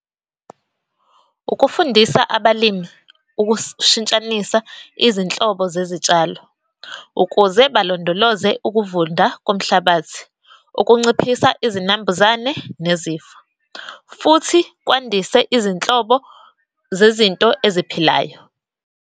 Ukufundisa abalimi ukushintshanisa izinhlobo zezitshalo ukuze balondoloze ukuvunda komhlabathi, ukunciphisa izinambuzane nezifo, futhi kwandise izinhlobo zezinto eziphilayo.